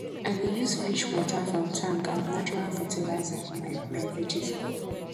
i dey use fish water from tank as natural fertilizer for my my vegetable